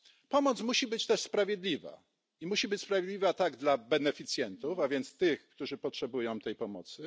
Pomoc musi być też sprawiedliwa i musi być sprawiedliwa tak dla beneficjentów, a więc tych którzy potrzebują tej pomocy.